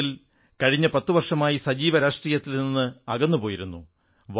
ഒരു തരത്തിൽ കഴിഞ്ഞ 10 വർഷമായി സജീവ രാഷ്ട്രീയത്തിൽ നിന്ന് അകന്നു പോയിരുന്നു